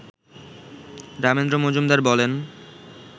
রামেন্দ্র মজুমদার বলেন